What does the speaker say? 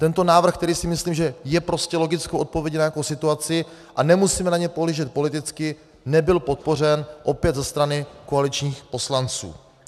Tento návrh, který si myslím, že je prostě logickou odpovědí na nějakou situaci a nemusíme na něj pohlížet politicky, nebyl podpořen opět ze strany koaličních poslanců.